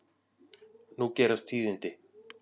Nú gerast tíðindi.